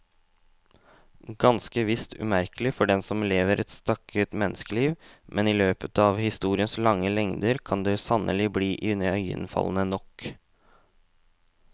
Ganske visst umerkelig for den som lever et stakket menneskeliv, men i løpet av historiens lange lengder kan det sannelig bli iøynefallende nok.